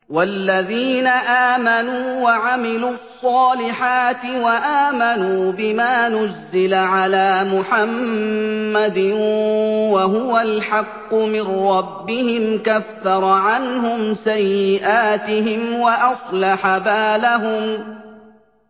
وَالَّذِينَ آمَنُوا وَعَمِلُوا الصَّالِحَاتِ وَآمَنُوا بِمَا نُزِّلَ عَلَىٰ مُحَمَّدٍ وَهُوَ الْحَقُّ مِن رَّبِّهِمْ ۙ كَفَّرَ عَنْهُمْ سَيِّئَاتِهِمْ وَأَصْلَحَ بَالَهُمْ